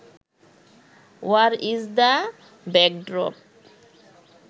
war is the backdrop